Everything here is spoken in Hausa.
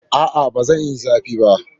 A'a, ba yi zafi ba.